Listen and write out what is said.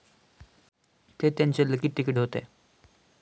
ते त्यांचेलकी तिकीट होते.